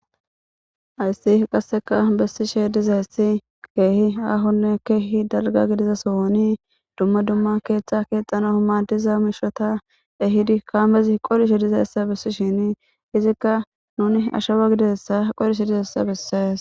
Hayssi qasseka bessishe dizeessi keehi aahonne keehi dalga gidiza sooni dumma dumma keeththa keexxana hamadiza mishata ehidi kaamezi qolishe dizaessa bissishini izikka nuni ashawa gidessa qolishe dizeessa bissees